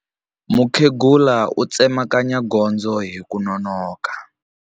Mukhegula u tsemakanya gondzo hi ku nonoka.